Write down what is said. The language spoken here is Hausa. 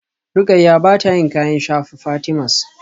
Rukayyah bata yin kayan shafa Fatimas